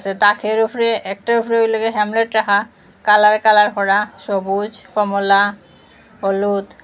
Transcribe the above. তাকের উফরে একটার উফরে হইল গিয়া হেমলেট রাখা কালর কালার করা সবুজ কমলা হলুদ।